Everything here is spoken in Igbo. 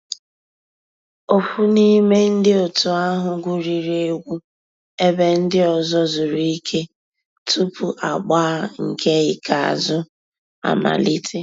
Ófú n'ime ndi ótú ahu gwuriri egwu èbé ndị́ ọ̀zọ́ zùrú ìké túpú àgbà nkè ìkèázụ́ àmàlíté.